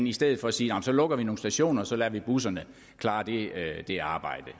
i stedet for sige så lukker vi nogle stationer og så lader vi busserne klare det arbejde